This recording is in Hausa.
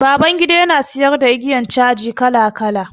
Babangida ya na siyar da igiyar caji kala kala.